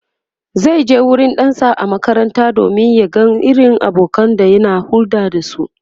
zaije wurin ɗansa a makaranta domin ya ga irin abokanan da yake hulɗa da su